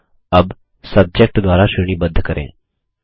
अबSubject द्वारा श्रेणीबद्ध करें